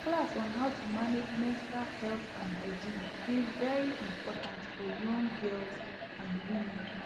class on how to manage menstual health and hygiene dey very important for young girls and women